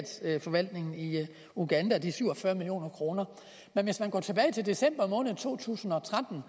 statsforvaltningen i uganda de syv og fyrre million kroner men hvis man går tilbage til december måned to tusind og tretten